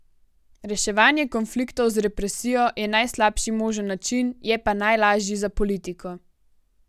Reševanje konfliktov z represijo je najslabši možen način, je pa najlažji za politiko.